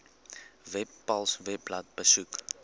webpals webblad besoek